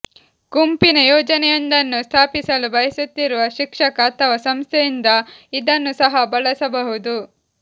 ಗುಂಪಿನ ಯೋಜನೆಯೊಂದನ್ನು ಸ್ಥಾಪಿಸಲು ಬಯಸುತ್ತಿರುವ ಶಿಕ್ಷಕ ಅಥವಾ ಸಂಸ್ಥೆಯಿಂದ ಇದನ್ನು ಸಹ ಬಳಸಬಹುದು